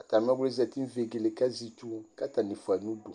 atami ɔvli yɛ zati nʋ vegele kʋ azɛ itsʋ kʋ atani fuayi nʋ ʋdʋ